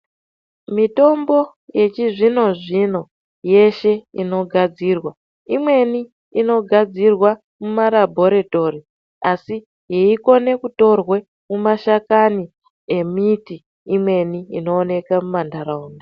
Mitombo yechizvino-zvino yeshe inogadzirwa imweni inogadzirwa mumarabhoritori asi yeikone kutorwe mumashakani emiti imweni inooneke mumantaraunda.